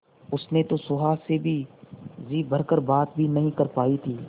उसने तो सुहास से जी भर कर बात भी नहीं कर पाई थी